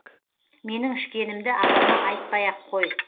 менің ішкенімді апама айтпай ақ қой